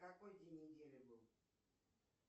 какой день недели был